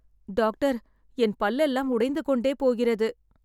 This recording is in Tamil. டாக்டர் என் பல்லெல்லாம் உடைந்து கொண்டே போகிறது.